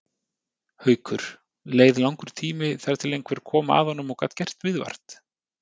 Haukur: Leið langur tími þar til að einhver koma að honum og gat gert viðvart?